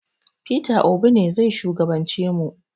Peter Obi ne zai shugaban ce mu